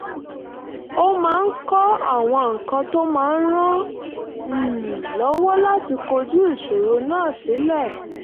ó máa ń kọ àwọn nǹkan tó máa ràn án um lọ́wọ́ láti kojú ìṣòro náà sílẹ̀